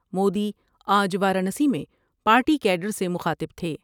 مودی آج وارانسی میں party cadre سے مخاطب تھے ۔